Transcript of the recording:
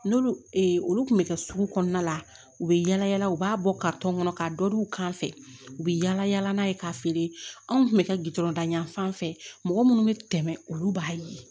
N'olu olu tun bɛ kɛ sugu kɔnɔna la u bɛ yala yala u b'a bɔ kɔnɔ ka dɔ di u kan fɛ u bɛ yala yala n'a ye k'a feere anw tun bɛ kɛ gdɔrɔn yan fan fɛ mɔgɔ minnu bɛ tɛmɛ olu b'a ye